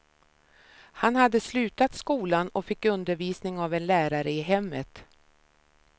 Han hade slutat skolan och fick undervisning av en lärare i hemmet.